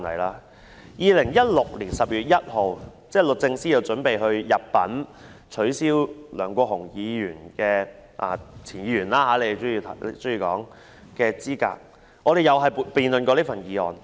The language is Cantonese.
在2016年12月1日，律政司準備入稟取消梁國雄——他們喜歡稱他為"前"議員——的議員資格，立法會亦曾辯論有關議案。